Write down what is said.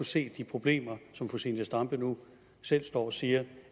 se de problemer som fru zenia stampe nu selv står og siger